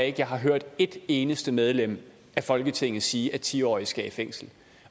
at jeg har hørt et eneste medlem af folketingets sige at ti årige skal i fængsel